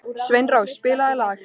Sveinrós, spilaðu lag.